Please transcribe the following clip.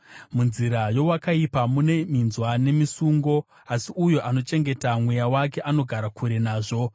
Munzira yeakaipa mune minzwa nemisungo, asi uyo anochengeta mweya wake anogara kure nazvo.